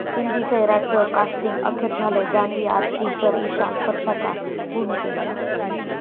हिंदी 'सैराट'चं कास्टिंग अखेर झालं, जान्हवी 'आर्ची', तर इशान परशाच्या भूमिकेत!